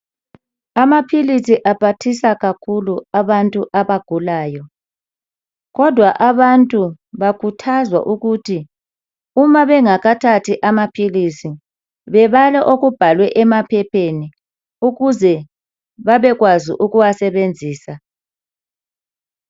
Amaphilisi aphathisa kakhulu abantu abagulayo kodwa abantu bakhuthazwa ukuthi uma bengakathathi amaphilizi bebale okubhalwe emaphepheni ukuze babekwazi ukuwasebenzisa.